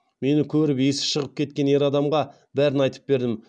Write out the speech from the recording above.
мені көріп есі шығып кеткен ер адамға бәрін айтып бердім